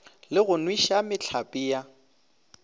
le go nweša mehlape ya